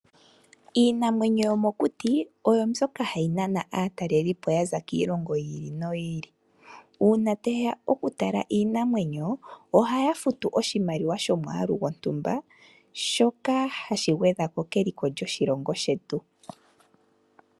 Iinamwenyo yomokuti oyo mbyoka hayi nana aatalelipo ya za kiilongo yi ili no yi ili uuna taye ya okutala iinanwenyo ohaya futu oshimaliwa shomwaalu gwontumba shoka hashi gwedha ko keliko lyoshilongo shetu.